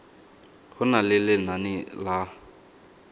go na le lenane la